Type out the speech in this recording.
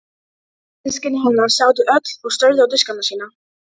Systkini hennar sátu öll og störðu á diskana sína.